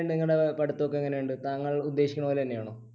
എങ്ങനെ ഉണ്ട് നിങ്ങളുടെ പഠിത്തം ഒക്കെ എങ്ങനെ ഉണ്ട് താങ്കൾ ഉദ്ദേശിക്കുന്നത് പോലെ തന്നെയാണോ